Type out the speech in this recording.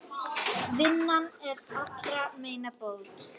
Vinnan allra meina bót.